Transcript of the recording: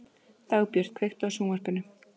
Dagbjört, kveiktu á sjónvarpinu.